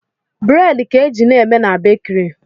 Buredi ka e ji na-eme na bakiri